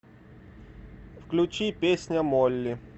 включи песня молли